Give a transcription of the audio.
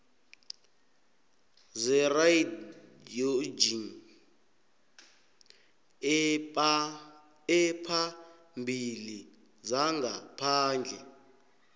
zeradioloji ephambili yangaphandle